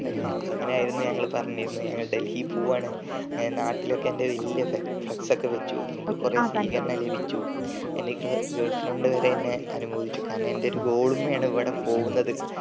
അങ്ങനെ ആയിരുന്നു ഞങ്ങൾ പറഞ്ഞിരുന്നത് ഞങ്ങൾ ദൽഹി പോവാണ് അങ്ങനെ നാട്ടിലോക്കെ എന്റെ വലിയ flux ഒക്കെ വച്ചു എനിക്ക് കൊറേ സ്വീകരണം ലഭിച്ചു എന്റെ ഗെ girl friend വരെ എന്നെ അനുമോദിച്ചു കാരണം എന്റെ ഒരു goal മ്മളാണ് ഇവിടെ പോകുന്നത്